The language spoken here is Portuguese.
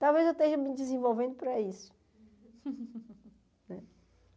Talvez eu esteja me desenvolvendo para isso.